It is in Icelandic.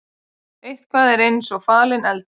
Eitthvað er eins og falinn eldur